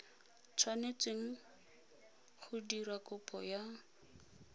tshwanetseng go dira kopo ya